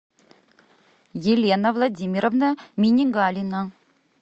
елена владимировна минигалина